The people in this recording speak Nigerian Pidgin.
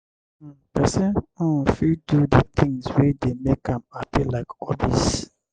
um person um fit do di things wey dey make am happy like hobbies